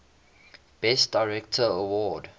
best director award